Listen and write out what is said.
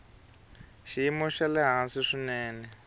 xiyimo xa le hansi swinene